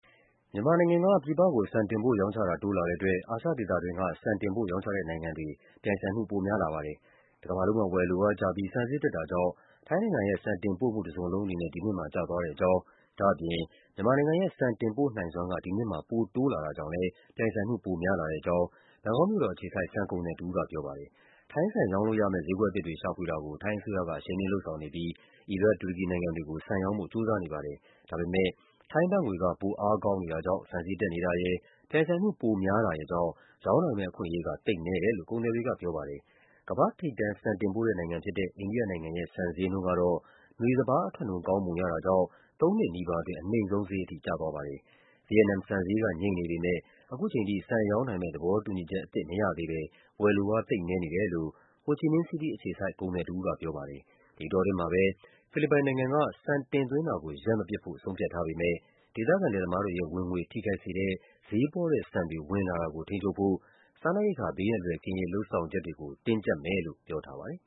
မြန်မာနိုင်ငံက ပြည်ပကို ဆန်တင်ပို့ရောင်းချတာ တိုးလာတဲ့အတွက် အာရှဒေသတွင်းက ဆန်တင်ပို့ရောင်းချတဲ့ နိုင်ငံတွေ အတွက် ပြိုင်ဆိုင်မှု ပိုများလာပါတယ်။ တကမ္ဘာလုံးမှာ ဝယ်လိုအားကျပြီး ဆန်ဈေးတက်တာကြောင့် ထိုင်းနိုင်ငံရဲ့ ဆန်တင်ပို့မှု တစုံလုံးအနေနဲ့ ဒီနှစ်မှာ ကျသွားတဲ့ အကြောင်း၊ ဒါ့အပြင် မြန်မာနိုင်ငံရဲ့ ဆန်တင်ပို့နိုင်စွမ်းက ဒီနှစ်မှာ ပိုတိုးလာတာကြောင့်လည်း ပြိုင်ဆိုင်မှု ပိုများလာတဲ့အကြောင်း ဘန်ကောက်မြို့တော်အခြေစိုက် ဆန်ကုန်သည်တဦးက ပြောပါတယ်။ ထိုင်းဆန်ရောင်းလို့ရမယ့် ဈေးကွက်အသစ်တွေ ရှာဖွေတာကို ထိုင်းအစိုးရက အရှိန်မြှင့်လုပ်ဆောင်နေပြီး အီရတ်၊ တူရကီနိုင်ငံ တွေကို ဆန်ရောင်းဖို့ ကြိုးစားနေပါတယ်။ ဒါပေမယ့် ထိုင်းဘတ်ငွေက ပိုအားကောင်းနေတာကြောင့် ဆန်ဈေးတက်နေတာရယ်၊ ပြိုင်ဆိုင်မှု ပိုများတာရယ်ကြောင့် ရောင်းနိုင်မယ့်အခွင့်အရေးက သိပ်နည်းတယ်လို့ ကုန်သည်တွေကပြောပါတယ်။ ကမ္ဘာ့ထိပ်တန်း ဆန်တင်ပို့တဲ့နိုင်ငံဖြစ်တဲ့ အိန္ဒိယနိုင်ငံရဲ့ ဆန်ဈေးနှုန်းကတော့ နွေစပါးအထွက်နှုန်း ကောင်းပုံရတာကြောင့် သုံးနှစ်နီးပါးအတွင်း အနိမ့်ဆုံးဈေးထိ ကျသွားပါတယ်။ ဗီယက်နမ်ဆန်ဈေးက ငြိမ်နေပေမယ့် ခုချိန်ထိ ဆန်ရောင်းနိုင်မယ့် သဘောတူညီချက်အသစ် မရသေးဘဲ ဝယ်လိုအား သိပ်နည်း နေတယ်လို့ ဟိုချီမင်းစီးတီးအခြေစိုက် ကုန်သည်တဦးက ပြောပါတယ်။ ဒီအတောအတွင်းမှာပဲ ဖိလစ်ပိုင်နိုင်ငံက ဆန်တင်သွင်းတာကို ရပ်မပစ်ဖို့ ဆုံးဖြတ်ထားပေမယ့် ဒေသခံလယ်သမားတွေရဲ့ဝင်ငွေ ထိခိုက်စေတဲ့ ဈေးပေါတဲ့ဆန်တွေ ဝင်လာတာကို ထိန်းချုပ်ဖို့ စားနပ်ရိက္ခာ ဘေးအန္တရာယ်ကင်းရေး လုပ်ဆောင်ချက်တွေကို တင်းကျပ်မယ်လို့ ပြောထားပါတယ်။